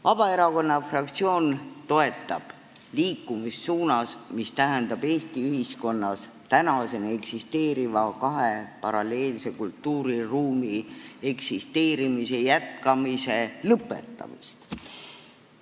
Vabaerakonna fraktsioon toetab liikumist suunas, mis tähendab Eesti ühiskonnas tänaseni eksisteeriva kahe paralleelse kultuuriruumi eksisteerimise lõpetamist.